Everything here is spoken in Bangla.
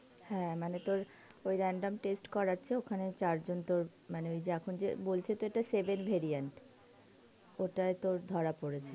হ্যাঁ মানে তোর ওই random test করাছে ওখানে চার জন তোর মানে ওই যে বলছে তো এটা seven verient, ওটাই তোর ধরা পড়েছে.